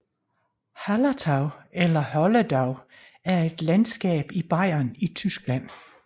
Hallertau eller Holledau er et landskab i Bayern i Tyskland